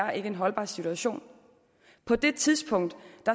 er en uholdbar situation på det tidspunkt